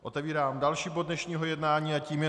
Otevírám další bod dnešního jednání a tím je